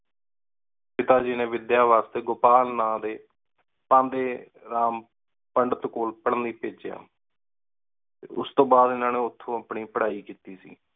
ਪਿਤਾ ਗੀ ਨੀ ਵਿਦ੍ਯਾ ਵਾਸਤੇ ਗੋਪਾਲ ਨਾ ਦੇ ਤੰਬੇਰਾਮ ਪੰਡਿਤ ਕੋਲ ਪਢਨ ਲੈ ਭੇਜ੍ਯਾ। ਤੇ ਉਸ ਤੋ ਬਾਦ ਇੰਨਾ ਨੇ ਓਥੋਂ ਆਪਣੀ ਪਢ਼ਾਈ ਕਿਤੀ ਸੀ।